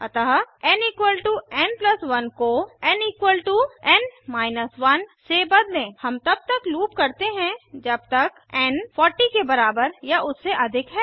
अतः n n 1 को n n 1 से बदलें हम तब तक लूप करते हैं जब तक एन 40 के बराबर या उससे अधिक है